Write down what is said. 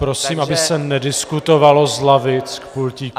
Prosím, aby se nediskutovalo z lavic k pultíku.